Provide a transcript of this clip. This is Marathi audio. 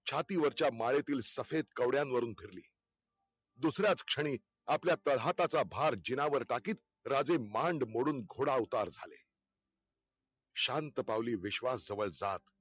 छातीवरच्या मायेतील सफेद कवड्या वरून धरली, दुसराच क्षणी आपल्या तळहाताचा भार जिनावर टाकीत राजे मांड मोडून घोडा उतार झाले शांत पावली विश्वास जवळ जात